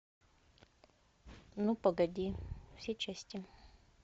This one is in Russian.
ну погоди все части